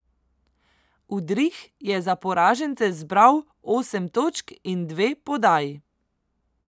Udrih je za poražence zbral osem točk in dve podaji.